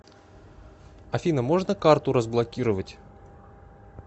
афина можно карту разблокировать